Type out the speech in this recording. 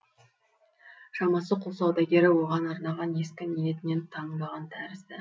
шамасы құл саудагері оған арнаған ескі ниетінен танбаған тәрізді